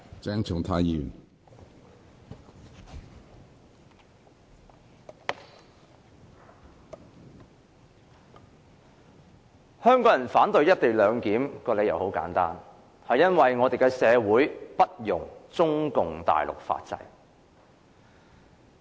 主席，香港人之所以反對"一地兩檢"，理由很簡單，便是因為香港社會不容中共大陸的法制。